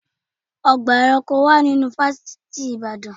Ọgbà awọn eranko wà nínú fásitì ìbàdàn.